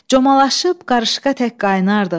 Comalaşıb qarışqa tək qaynardıq.